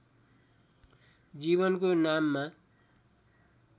जीवनको नाममा